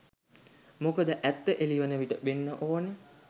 මොකද ඇත්ත එළිවන විට වෙන්න ඕන